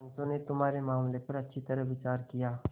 पंचों ने तुम्हारे मामले पर अच्छी तरह विचार किया